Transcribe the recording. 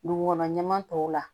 Dugukɔnɔ ɲɛmaa tɔw la